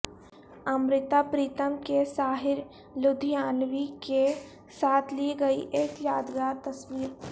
امرتا پریتم کی ساحر لدھیانوی کے ساتھ لی گئی ایک یادگار تصویر